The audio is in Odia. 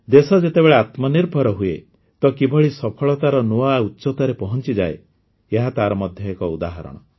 ଦେଶ ଯେତେବେଳେ ଆତ୍ମନିର୍ଭର ହୁଏ ତ କିଭଳି ସଫଳତାର ନୂଆ ଉଚ୍ଚତାରେ ପହଞ୍ଚିଯାଏ ଏହା ତାର ମଧ୍ୟ ଏକ ଉଦାହରଣ